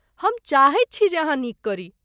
हम चाहैत छी जे अहाँ नीक करी।